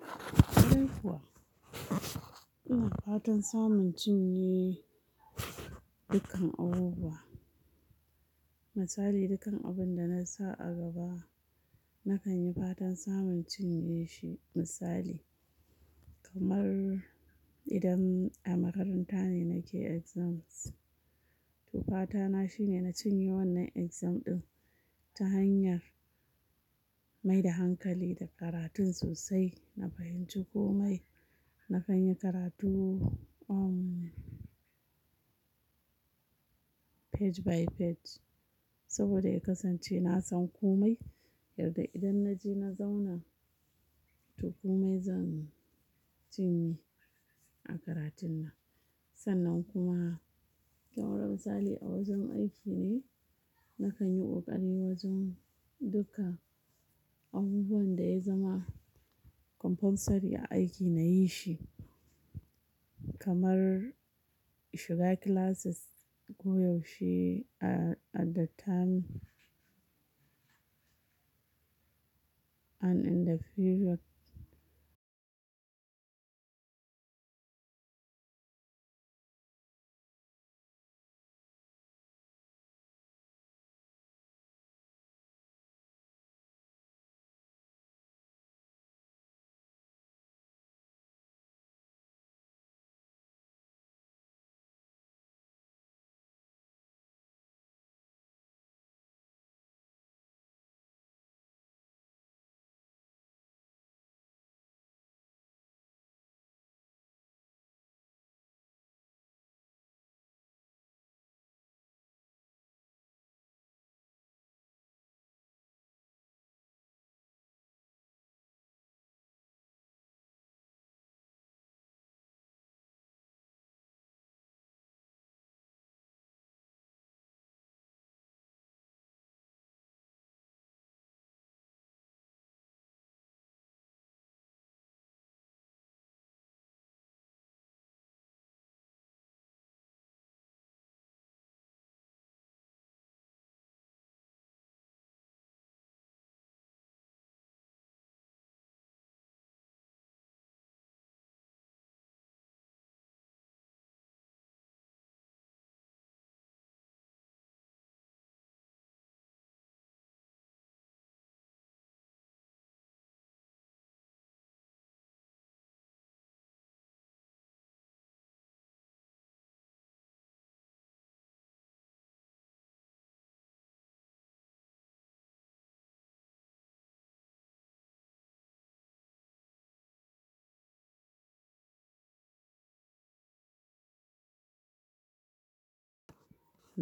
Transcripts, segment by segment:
Kwarai kuwa ina fatan samun cinye dukkan abubuwa. Misali, dukkan abinda nasa a gaba nakan yi fatan samun cinyeshi. Misali kamar idan a makaranta ne nake exams, to fatana shine na cinye wannan exam ɗin ta hanyar maida hankali da karatun sosai. Na fahimci komai, na kanyi karatu page by page saboda in kasance nasan komai. Yarda idan naje na zauna, to komai zan cinye a karatun nan. Sannan kuma kamar misali a wajen aiki ne, nakan yi ƙoƙari wajen duka abubuwanda yazama compulsory a aiki nayishi. Kamar shiga classes koyaushe at the time and in the period.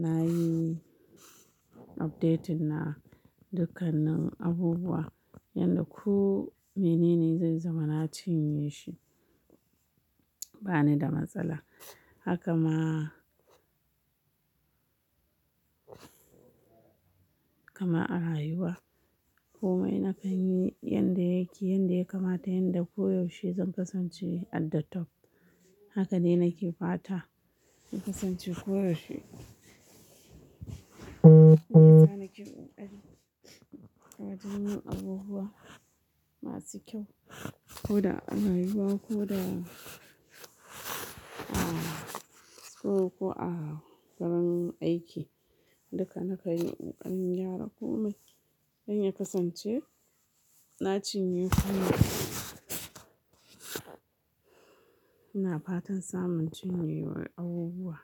Nayi updating na dukkanin abubuwa yadda ku menene zai zama na cinye shi banida matsala. Haka ma, kaman a rayuwa komai nakan yi yanda yake, yanda ya kamata, yanda koyaushe zan kasance at the top. Haka dai nake fata ya kasance koyaushe. Shiyasa nake koƙari a wajen yin abubuwa masu kyau koda a rayuwa koda a ko, ko a gurin aiki. Duka na kanyi ƙoƙarin gyara komai don ya kasance na cinye komai. Ina fatan samun cinye abubuwa.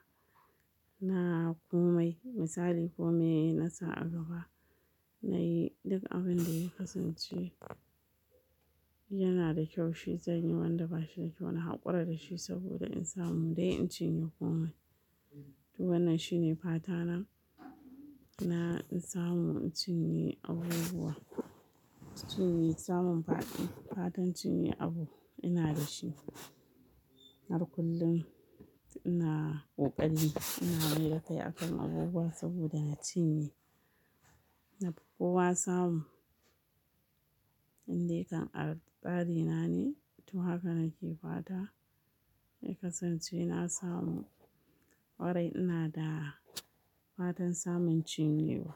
Na komai misali komai nasa a gaba, nayi duk abinda ya kasance yanada kyau shi zanyi, wanda bashida kyau na haƙura dashi saboda in samu dai in cinye komai. To wannan shine fatana, na in samu in cinye abubuwa. Cinye samun faɗi, fatan cinye abu ina dashi. Har kullum ina ƙoƙari ina mai da kai akan abubuwa saboda na cinye nafi kowa samu inda kan a tsari na ne. To haka nake fata ya kasance na samu warai inada fata samun cinye.